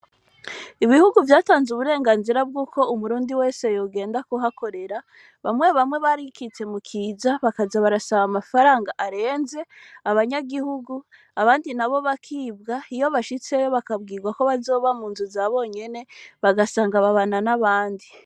Ibihugu vyatanze uburenganzira bw'uko umurundi wese yogenda kuhakorera bamwe bamwe barikitse mu kiza bakaza barasaba amafaranga arenze abanyagihugu abandi na bo bakibwa iyo bashitseyo bakabwirwa ko bazoba mu nzu za bonyene bagasanga babana n'abandi.